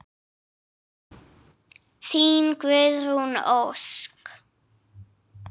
Þín Guðrún Ósk.